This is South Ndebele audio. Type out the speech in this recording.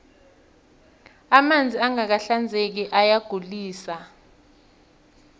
amanzi angaka hinzeki ayagulise